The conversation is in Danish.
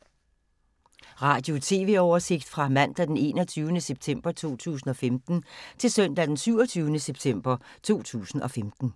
Radio/TV oversigt fra mandag d. 21. september 2015 til søndag d. 27. september 2015